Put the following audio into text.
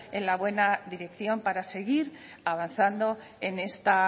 en la buena dirección para seguir avanzando en esta